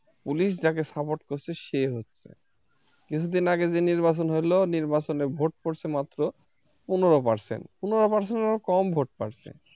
Police যাকে support করছে সে হচ্ছে কিছুদিন আগে যে নির্বাচন হলো নির্বাচনে ভোট পড়েছে মাত্র পনেরো percent পনেরো percent এর ও কম ভোট পড়ছে।